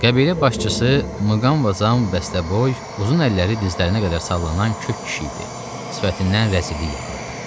Qəbilə başçısı Mqamvazam bəstəboy, uzun əlləri dizlərinə qədər sallanan kük kişi idi, sifətindən rəzillik yağırdı.